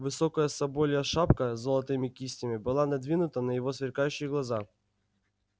высокая соболья шапка с золотыми кистями была надвинута на его сверкающие глаза